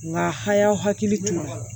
Nga hay'aw hakili to a la